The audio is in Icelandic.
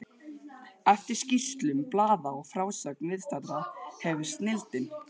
Eftir skýrslum blaða og frásögn viðstaddra hefir snilldin